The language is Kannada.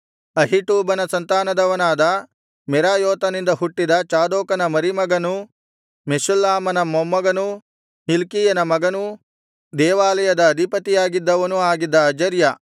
ಅಹೀಟೂಬನ ಸಂತಾನದವನಾದ ಮೆರಾಯೋತನಿಂದ ಹುಟ್ಟಿದ ಚಾದೋಕನ ಮರಿಮಗನೂ ಮೆಷುಲ್ಲಾಮನ ಮೊಮ್ಮಗನೂ ಹಿಲ್ಕೀಯನ ಮಗನೂ ದೇವಾಲಯದ ಅಧಿಪತಿಯಾಗಿದ್ದವನೂ ಆಗಿದ್ದ ಅಜರ್ಯ